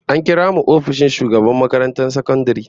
An kira mu ofishin shugaban makarantar sakandare